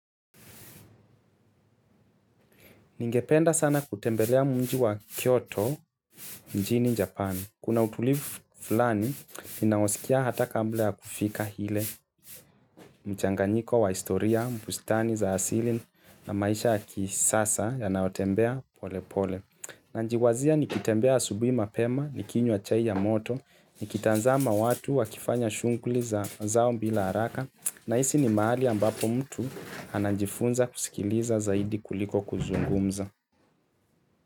Ningependa sana kutembelea mji wa Kyoto, mjini Japani. Kuna utulivu fulani, ninaosikia hata kabla ya kufika ile mchanganyiko wa historia, bustani za asili na maisha ya kisasa yanaotembea pole pole. Nanjiwazia nikitembea asubui mapema, nikinywa achai ya moto, nikitazama watu wa kifanya shunguli za zao mbila haraka, nahisi ni maali ambapo mtu anajifunza kusikiliza zaidi kuliko kuzungumza.